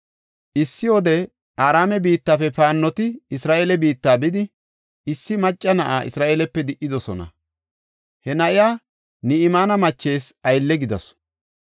Issi wode Araame biittafe paannoti Isra7eele biitta bidi, issi macca na7a Isra7eelepe di77idosona. He na7iya Ni7imaane machees aylle gidasu.